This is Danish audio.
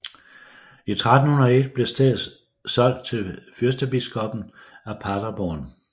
I 1301 blev stedet solgt til fyrstebiskoppen af Paderborn